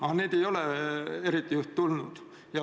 Aga neid ei ole eriti tulnud.